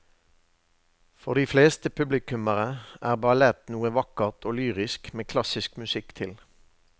For de fleste publikummere er ballett noe vakkert og lyrisk med klassisk musikk til.